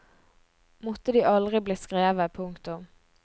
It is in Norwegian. Måtte de aldri bli skrevet. punktum